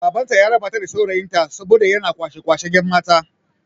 Baban ta ya raba ta da saurayin ta saboda yana kwashe kwashen yan' mata.